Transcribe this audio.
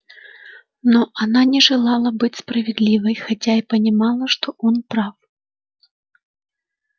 но она не желала быть справедливой хотя и понимала что он прав